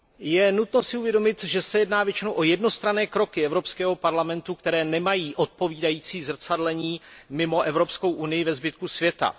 Je nutno si uvědomit, že se jedná většinou o jednostranné kroky Evropského parlamentu, které nemají odpovídající zrcadlení mimo Evropskou unii ve zbytku světa.